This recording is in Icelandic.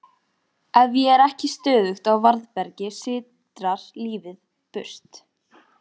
Ef ég er ekki stöðugt á varðbergi sitrar lífið burt.